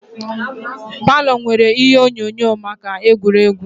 Palo nwèrè ihe onyonyo maka egwuregwu